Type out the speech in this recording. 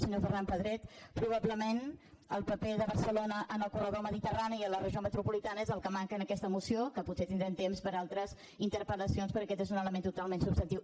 senyor ferran pedret probablement el paper de barcelona en el corredor mediterrani i en la regió metropolitana és el que manca en aquesta moció que potser en tindrem temps per altres interpel·lacions perquè aquest és un element totalment substantiu